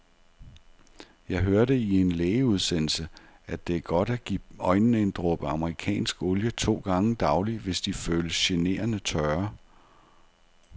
Jeg hørte i en lægeudsendelse, at det er godt at give øjnene en dråbe amerikansk olie to gange daglig, hvis de føles generende tørre.